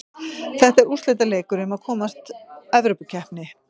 Þetta er úrslitaleikur um að komast Evrópukeppni.